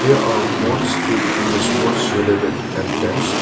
they are sports cape in the sports related entrance.